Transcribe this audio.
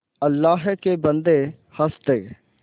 अल्लाह के बन्दे हंस दे